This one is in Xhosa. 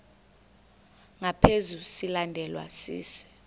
ngaphezu silandelwa sisi